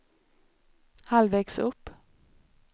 halvvägs upp